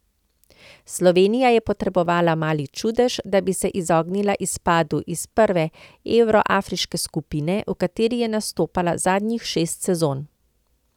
Slovenija je potrebovala mali čudež, da bi se izognila izpadu iz prve evroafriške skupine, v kateri je nastopala zadnjih šest sezon.